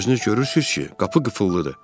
Özünüz görürsünüz ki, qapı qıfıllıdır.